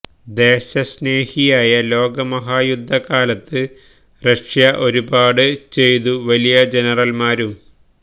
ദേശസ്നേഹിയായ ലോകമഹായുദ്ധ കാലത്ത് റഷ്യ ഒരുപാട് ചെയ്തു വലിയ ജനറൽമാരും